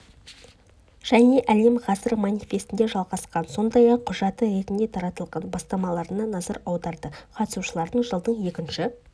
және әлем ғасыр манифесінде жалғасқан сондай-ақ құжаты ретінде таратылған бастамаларына назар аударды қатысушылар жылдың екінші